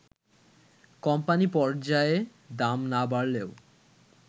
company পর্যায়ে দাম না বাড়লেও